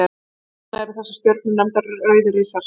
Þess vegna eru þessar stjörnur nefndar rauðir risar.